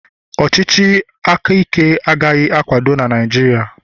ọchịchị aka Ike agaghị akwado na Naịjirịa